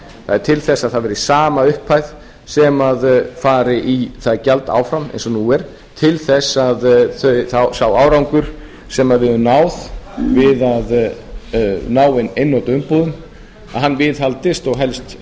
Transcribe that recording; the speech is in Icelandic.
það er til þess að það verði sama upphæð sem fari í það gjald áfram eins og nú er til þess að sá árangur sem við höfum náð við að ná inn einnota umbúðum viðhaldist og helst